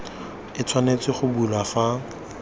e tshwanetse go bulwa fa